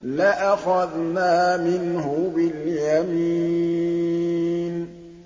لَأَخَذْنَا مِنْهُ بِالْيَمِينِ